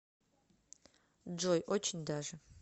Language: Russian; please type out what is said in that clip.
джой очень даже